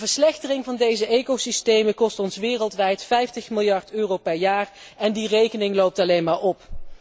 De verslechtering van deze ecosystemen kost ons wereldwijd 50 miljard euro per jaar en die rekening loopt alleen maar op.